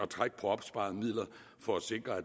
trække på opsparede midler for at sikre at